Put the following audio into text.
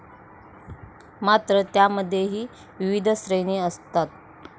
मात्र त्यामध्येही विविध श्रेणी असतात.